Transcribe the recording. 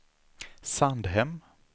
Sandhem